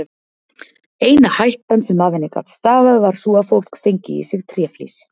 Eina hættan sem af henni gat stafað var sú að fólk fengi í sig tréflís.